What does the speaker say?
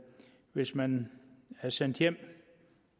hvis man er sendt hjem